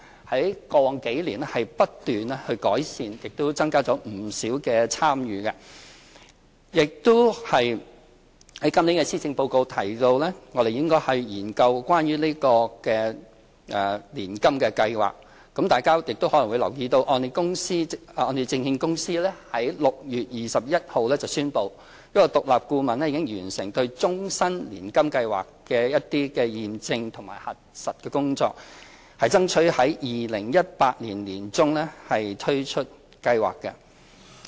在過往數年，不斷改善，亦增加了不少參與；在今年的施政報告提到我們應該研究年金計劃，大家亦可能留意到香港按揭證券有限公司在6月21日宣布，獨立顧問已完成對終身年金計劃的驗證和核實工作，並爭取在2018年年中推出計劃。